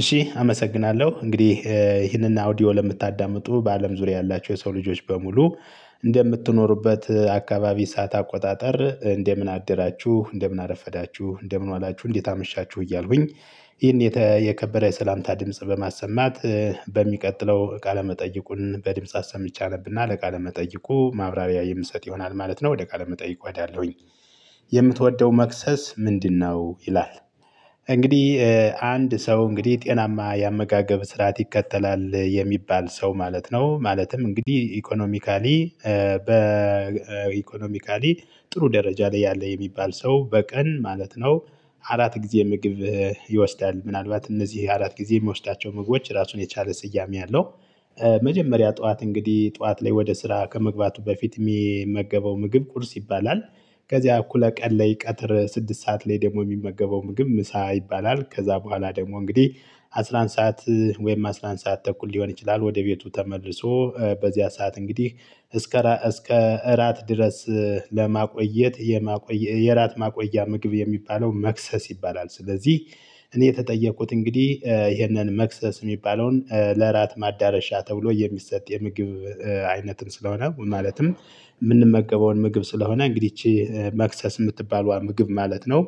እሺ አመሰግናለሁ። እንግዲህ ይህንን አውዲዮ ለምታዳምጡ በአለም ዙሪያ ያላቸው የሰው ልጆች በሙሉ እንደምትኖሩበት አካባቢ ሰዓት አቆጣጠር እንደምን አደራችሁ? እንደምን አረፈዳችሁ? እንደምን ዋላችሁ? እንዴት አመሻችሁ? እያልኩኝ ይሄን የተከበረ የሰላምታ ድምጽ በማሰማት በሚቀጥለው ቃለመጠይቁን በድምጽ አሰምቸ አነብና ለቃለ ለመጠየቁ ማብራቢያ የምሰጥ ይሆናል ማለት ነው። ወደ ቃ ለመጠየቁ እሄዳለሁኝ። የምትወደው መክሰስ ምንድነው? ይላል፤ እንግዲህ አንድ ሰው እንግዲህ ጤናማ ያመጋገብ ስርዓት ይከተላል የሚባል ሰው ማለት ነው። ማለትም እንግዲህ ኢኮኖሚካሊ በ በኢኮኖሚካሊ ጥሩ ደረጃ ላይ ያለ የሚባል ሰው በቀን ማለት ነው አራት ጊዜ ምግብ ይወስዳል። ምናልባት እነዚህ አራት ጊዜ የሚወስዳቸው ምግቦች ራሱን የቻለ ስያሜ አለው። መጀመሪያ ጠዋት እንግዲህ ጠዋት ላይ ወደ ስራ ከመግባቱ በፊት የሚመገበው ምግብ ቁርስ ይባላል። ከዚያ እኩለ ቀን ላይ ቀትር ስድስት ሰዓት ላይ ደግሞ የሚመገበው ምግብ ምሳ ይባላል። ከዛ በኋላ ደግሞ እንግዲህ አስራ አንድ ሰዓት ወይም አስራ አንድ ሰዓት ተኩል ሊሆን ይችላል ወደ ቤቱ ተመልሶ በዚያ ሰዓት እንግዲህ እስከ እስከ እራት ድረስ ለማቆየት የማቆየት የራት ማቆያ ምግብ የሚባለው መክሰስ ይባላል። ስለዚህ እኔ የተጠየቁት እንግዲህ ይሄንን መክሰስ የሚባለውን ለራት ማዳረሻ ተብሎ የሚሰጥ የምግብ አይነትን ስለሆነ ማለትም የምንመገበውን ምግብ ስለሆነ እንግዲህ ይቺ መክሰስ የምትባለው ምግብ ማለት ነው